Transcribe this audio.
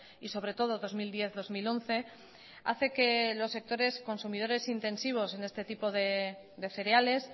y sobre todo dos mil diez dos mil once hace que los sectores consumidores intensivos en este tipo de cereales